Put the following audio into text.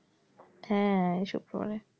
হ্যাঁ এই শুক্রবারে।